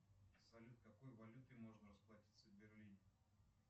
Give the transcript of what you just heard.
салют какой валютой можно расплатиться в берлине